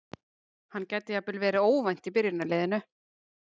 Hann gæti jafnvel verið óvænt í byrjunarliðinu.